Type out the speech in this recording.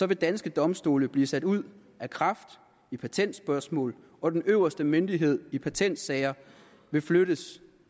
vil danske domstole blive sat ud af kraft i patentspørgsmål og den øverste myndighed i patentsager vil flyttes